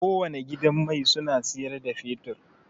Kowane gidan mai suna siyar da fetur.